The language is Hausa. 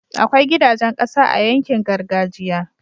akwai gidajan ƙasa a yankin gargajiya